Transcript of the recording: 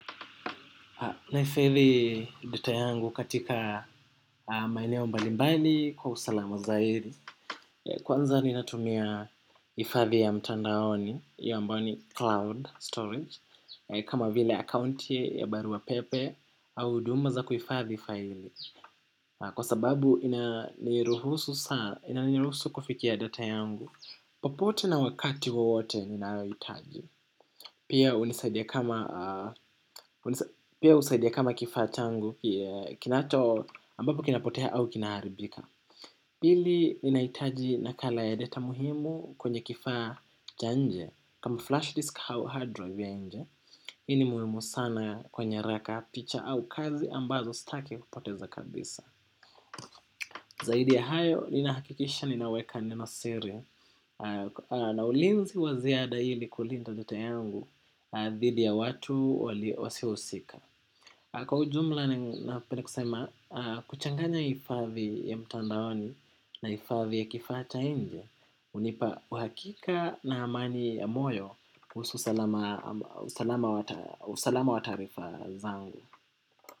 Nahifadhi data yangu katika maeneo mbali mbali kwa usalama zaidi. Kwanza ninatumia hifadhi ya mtandaoni hiyo ambayo ni Cloud storage kama vile akaunti ya arua pepe au huduma za kuhifadhi files. Kwa sababu inaniruhusu kufikia data yangu. Popote na wakati wowote ninaohitaji pia hunisaidia. Pia hunisaidia kama kifaa changu kinacho ambapo kinapotea au kinaharibika pili nahitaji nakala ya data muhimu kwenye kifaa cha nje kama flashdisk au hard drive ya nje. Hii ni muhimu sana kwenye nyaraka picha au kazi ambazo sitaki kupoteza kabisa. Zaidi ya hayo ninahakikisha ninaweka neno siri. Na ulinzi wa ziada hili kulinda data yangu dhidi ya watu wasiohusika. Kwa ujumla napenda kusema kuchanganya hifadhi ya mtandaoni na hifadhi ya kifaa cha nje, hunipa uhakika na amani ya moyo kuhusu usalama usalama wa taarifa zangu.